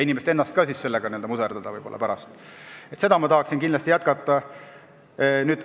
Inimest ennast ka ei taha sellega muserdada.